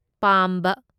ꯄꯥꯝꯕ